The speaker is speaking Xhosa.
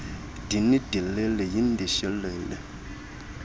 din dilili yindishilili